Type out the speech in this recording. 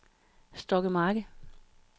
Stokkemarke